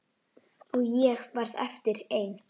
Og ég varð eftir ein.